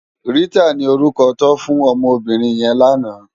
Rita ni órúkò tò fún òmò óbìrín yèn làná